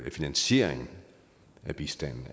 finansieringen af bistanden